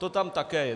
To tam také je.